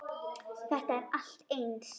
Þetta er allt eins!